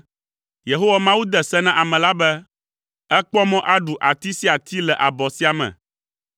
Yehowa Mawu de se na ame la be, “Èkpɔ mɔ aɖu ati sia ati le abɔ sia me,